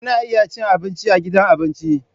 Kuna iya cin abinci a gidan abinci.